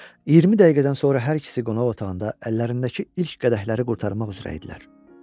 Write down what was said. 20 dəqiqədən sonra hər ikisi qonaq otağında əllərindəki ilk qədəhləri qurtarmaq üzrə idilər.